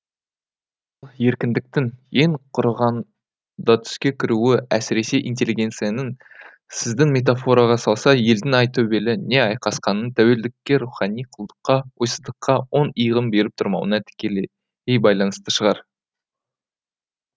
ал еркіндіктің ең құрығанда түске кіруі әсіресе интеллигенцияның сіздің метафораға салса елдің айтөбелі не айқасқасының тәуелділікке рухани құлдыққа ойсыздыққа оң иығын беріп тұрмауына тікелей байланысты шығар